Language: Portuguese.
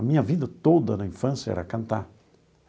A minha vida toda na infância era cantar.